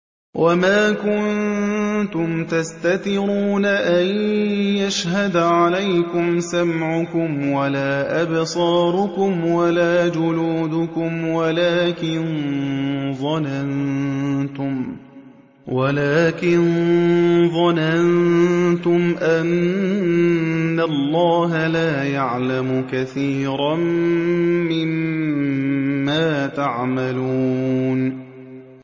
وَمَا كُنتُمْ تَسْتَتِرُونَ أَن يَشْهَدَ عَلَيْكُمْ سَمْعُكُمْ وَلَا أَبْصَارُكُمْ وَلَا جُلُودُكُمْ وَلَٰكِن ظَنَنتُمْ أَنَّ اللَّهَ لَا يَعْلَمُ كَثِيرًا مِّمَّا تَعْمَلُونَ